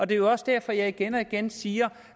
det er jo også derfor jeg igen og igen siger